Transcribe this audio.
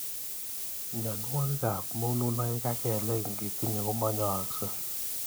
Mnyenwokik ab mununoik ab kelek ingitinye komainyekei.